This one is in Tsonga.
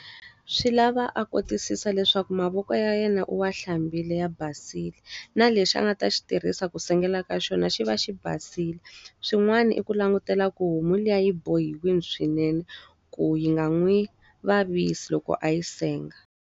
Swi lava a kotisisa leswaku mavoko ya yena u wa hlambile ya basile, na lexi a nga ta swi tirhisa ku sengela ka xona xi va xi basile. Swin'wana i ku langutela ku homu liya yi bohiwile swinene, ku yi nga n'wi vavisi loko a yi senga.